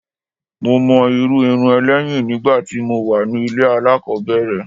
Mo mọ irú irun ẹ lẹ́yìn nígbà tí mo wà ní ilé alákòbẹ̀rẹ̀.